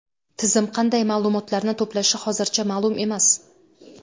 Tizim qanday ma’lumotlarni to‘plashi hozircha ma’lum emas.